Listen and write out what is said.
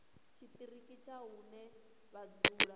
tshiṱiriki tsha hune vha dzula